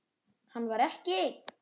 Hann var ekki einn.